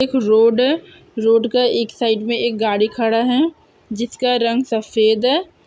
एक रोड है रोड का एक साइड में एक गाड़ी खड़ा है जिसका रंग सफेद है ।